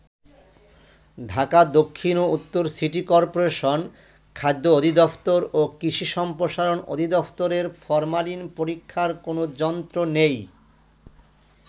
ঢাকা দক্ষিণ ও উত্তর সিটি করপোরেশন, খাদ্য অধিদফতর ও কৃষি সম্প্রসারণ অধিদফতরের ফরমালিন পরীক্ষার কোনো যন্ত্র নেই।